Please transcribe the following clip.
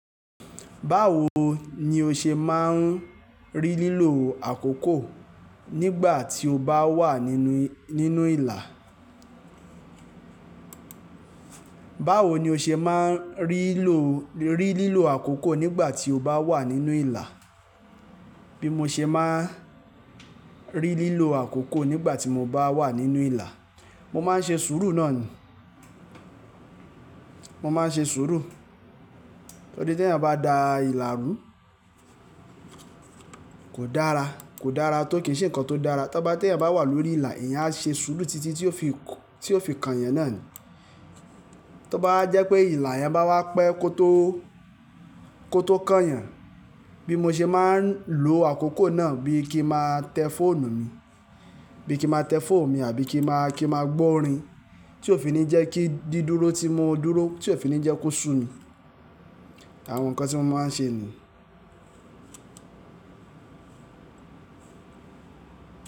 Báwo ni o ṣe máa ń rí lílo àkókò nígbà tí o bá wà nínú, nínú ìlà? Báwo ni o ṣe máa ń rí lò, rí lílo àkókò nígbà tí o bá wà nínú ìlà? Bí mo ṣe máa ń rí lílo àkókò nígbà tí mo bá wà nínú ìlà, mo máa ń ṣe sùúrù náà ni. Mo máa ń ṣe sùúrù. Tori ti èèyàn bá dá ìlà rú kò dára, kò dára tó kì n ṣe ǹkan tó dára. Tóbá tí eẹ̀yàn bá wà lórí ìlà, ẹ̀eyan á ṣe sùúrù títí tí ó fi kó, tí ó fi kan ẹ̀eyan náà ni. Tóbá wa jẹ́ pé ìlà yẹn bá wá pẹ́ kó tó, kó tó kan ẹ̀eyan. Bí mo ṣe máa ń lo àkókò náà bí i kí máa tẹ fóònù mi, bí kí n máa tẹ fóònù mi àbí kí máa, kí máa gbọ́ orin tí ó fi ní jẹ́ kí dídúró tí mo dúró, tí ó fi ní jẹ́ kó sú mi. Àwọn ǹkan tí mo máa ń ṣe ni.